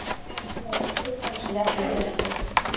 दोन किंवा एक वर्ष जास्तीत जास्त.